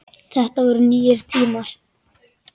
Þetta voru nýir tímar.